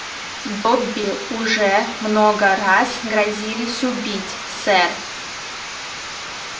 добби уже много раз грозились убить сэр